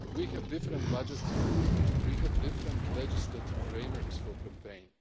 We have different budgets for campaigning, we have different legislative frameworks for campaigns.